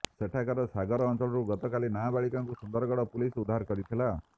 ସେଠାକାର ସାଗର ଅଞ୍ଚଳରୁ ଗତକାଲି ନାବାଳିକାଙ୍କୁ ସୁନ୍ଦରଗଡ଼ ପୁଲିସ୍ ଉଦ୍ଧାର କରିଥିଲା